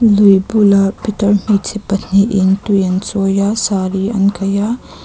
lui bulah pitar hmeichhe pahnih in tui an chawi a saree an kaih a.